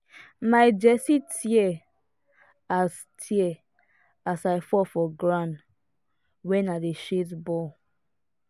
my jersey tear as tear as i fall for ground wen i dey chase ball